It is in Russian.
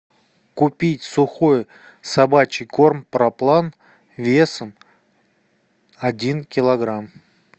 купить сухой собачий корм проплан весом один килограмм